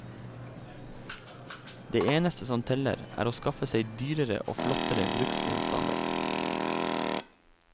Det eneste som teller, er å skaffe seg dyrere og flottere bruksgjenstander.